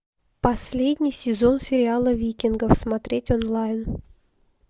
последний сезон сериала викингов смотреть онлайн